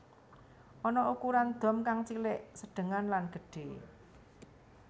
Ana ukuran dom kang cilik sedhengan lan gedhe